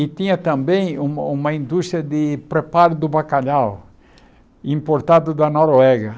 E tinha também uma uma indústria de preparo do bacalhau importado da Noruega.